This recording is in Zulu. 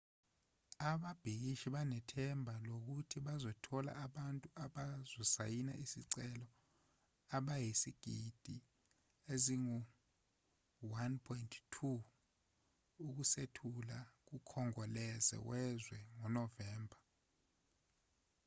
ababhikishi banethemba lokuthi bazothola abantu abazosayina isicelo abayizigidi ezingu-1.2 ukusethula kukhongolose wezwe ngonovemba